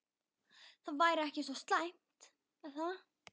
Það væri ekki svo slæmt er það?